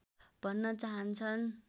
भन्न चाहन्छन्